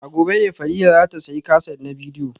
A gobe ne Fadila za ta sayi kaset na bidiyo